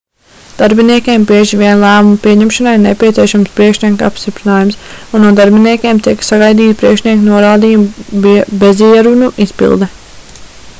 darbiniekiem bieži vien lēmuma pieņemšanai ir nepieciešams priekšnieka apstiprinājums un no darbiniekiem tiek sagaidīta priekšnieka norādījumu bezierunu izpilde